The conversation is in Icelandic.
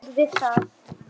Stóð við það.